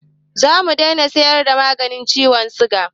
Zamu dai na siyar da maganin ciwon siga